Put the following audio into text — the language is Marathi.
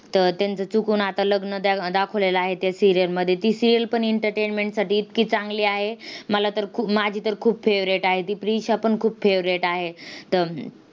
तर त्यांचं चुकून आता लग्न द दाखवलेले आहे त्या serial मध्ये. ती serial पण entertainment साठी इतकी चांगली आहे, मला तर खूप माझी तर खूप favorite आहे. ती प्रिशापण खूप favorite आहे.